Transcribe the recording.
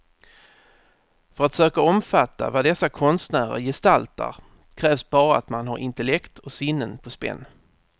För att söka omfatta vad dessa konstnärer gestaltar krävs bara att man har intellekt och sinnen på spänn.